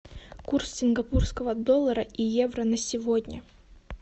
курс сингапурского доллара и евро на сегодня